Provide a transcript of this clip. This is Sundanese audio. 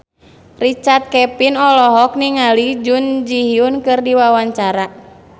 Richard Kevin olohok ningali Jun Ji Hyun keur diwawancara